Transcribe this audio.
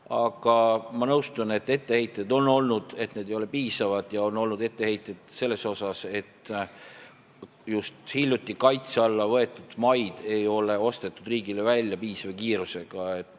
Aga ma nõustun, et on olnud etteheiteid, et see ei ole piisav, ja on olnud etteheiteid, et just hiljuti kaitse alla võetud maid ei ole ostnud riik välja piisava kiirusega.